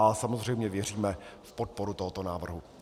A samozřejmě věříme v podporu tohoto návrhu.